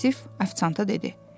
Vasif afisanta dedi.